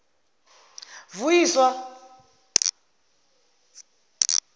vuyiswa